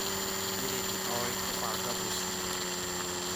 Mary nĩoĩ kũbanga mũciĩ